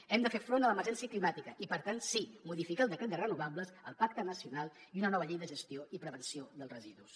hem de fer front a l’emergència climàtica i per tant sí modificar el decret de renovables el pacte nacional i una nova llei de gestió i prevenció dels residus